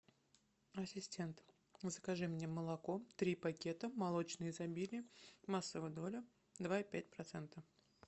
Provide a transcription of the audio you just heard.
ассистент закажи мне молоко три пакета молочное изобилие массовая доля два и пять процента